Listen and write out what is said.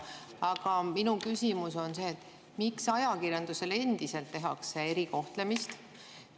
Aga minu küsimus on: miks ajakirjandusele endiselt tehakse erikohtlemist?